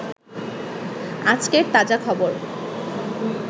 আজকের তাজা খবর